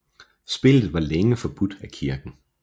Spillet var længe forbudt af kirken